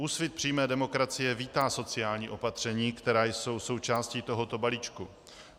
Úsvit přímé demokracie vítá sociální opatření, která jsou součástí tohoto balíčku.